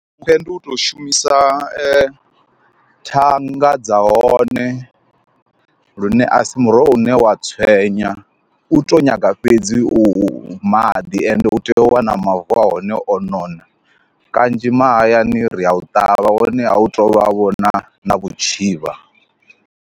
Khwiṋe ndi u to shumisa thanga dza hone, lune a si muroho une wa tswenya u to nyaga fhedzi u maḓi ende u tea u wana mavu a hone o nona kanzhi mahayani ri a u ṱavha hone a u to vha vhona na na vhutshivha.